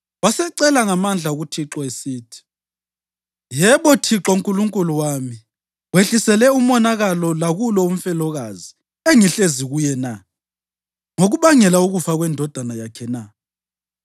Wasecela ngamandla kuThixo esithi. “Yebo Thixo Nkulunkulu wami, wehlisele umonakalo lakulo umfelokazi engihlezi kuye na, ngokubangela ukufa kwendodana yakhe na?”